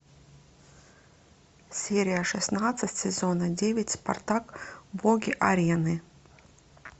серия шестнадцать сезона девять спартак боги арены